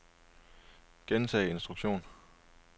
gentag instruktion